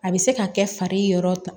A bɛ se ka kɛ fari yɔrɔ ta